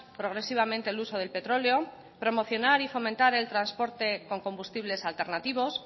progresivamente el uso del petróleo promocionar y fomentar el transporte con combustibles alternativos